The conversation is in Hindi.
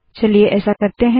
चलिए ऐसा करते है